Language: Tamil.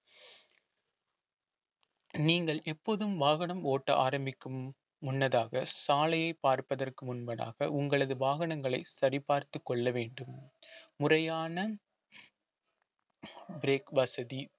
நீங்கள் எப்போதும் வாகனம் ஓட்ட ஆரம்பிக்கும் முன்னதாக சாலையை பார்ப்பதற்கு முன்பதாக உங்களது வாகனங்களை சரி பார்த்துக் கொள்ள வேண்டும் முறையான break வசதி